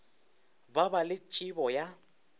ba ba le tšebo ya